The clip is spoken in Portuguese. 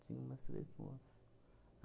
Tinha umas três moças.